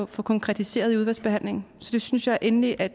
få konkretiseret i udvalgsbehandlingen så det synes jeg endelig at